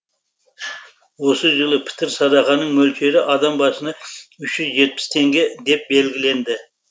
осы жылы пітір садақаның мөлшері адам басына үш жүз жетпіс теңге деп белгіленді